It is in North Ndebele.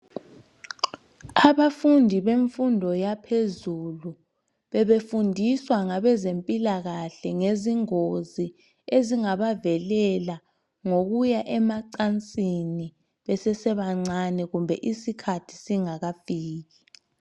Abafundi bemfundo yaphezulu bebefundiswa ngabezempilakahle ngezingozi ezingabavelela ngokuya emacansini besesebancane kumbe isikhathi singakafiki.